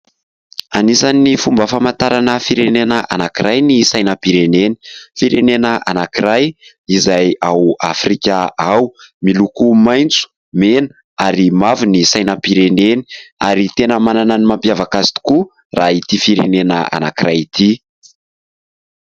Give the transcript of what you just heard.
Anisan'ny fomba famantarana firenena anankiray ny sainampireneny. Firenena anankiray izay ao Afrika ao. Miloko maintso, mena ary mavo ny sainampireneny ary tena manana ny mampiavaka azy tokoa raha ity firenena anankiray ity.